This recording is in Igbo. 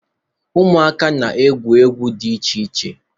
Ụmụaka na-egwu egwu di iche iche.